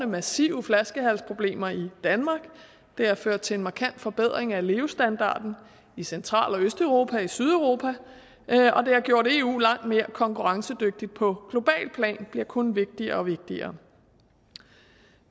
massive flaskehalsproblemer i danmark det har ført til en markant forbedring af levestandarden i central og østeuropa og i sydeuropa det har gjort eu langt mere konkurrencedygtigt på globalt plan og bliver kun vigtigere og vigtigere